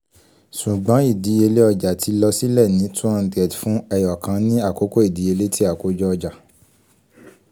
ṣugbọn idiyele ọja ti lọ silẹ si two hundred fun ẹyọkan ni akoko idiyele ti akojo ọja